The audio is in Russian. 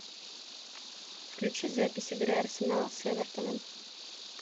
включи запись игры арсенал с эвертоном